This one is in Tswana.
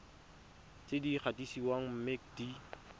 tse di gatisitsweng mme di